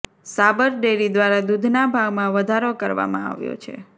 સાબર dairy દ્વારા દૂધના ભાવમાં વધારો કરવામાં આવ્યો છે